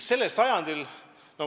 Sellel sajandil ...